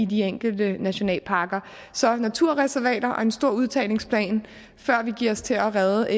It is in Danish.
de enkelte nationalparker så naturreservater og en stor udtagningsplan før vi giver os til at redde